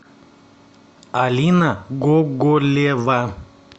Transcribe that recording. алина гоголева